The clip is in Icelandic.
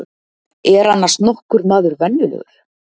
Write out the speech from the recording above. Er annars nokkur maður venjulegur?